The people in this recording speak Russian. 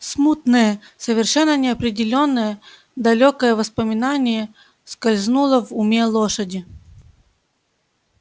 смутное совершенно неопределённое далёкое воспоминание скользнуло в уме лошади